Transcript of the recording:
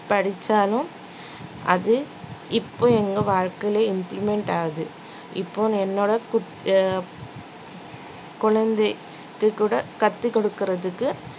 படிச்சாலும் அது இப்போ எங்க வாழ்க்கைல implement ஆகுது இப்போ என்னோட குட்~ அஹ் குழந்தைக்குக் கூட கத்துக்கொடுக்கறதுக்கு